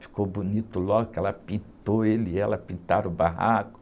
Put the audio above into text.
Ficou bonito logo que ela pintou, ele e ela pintaram o barraco.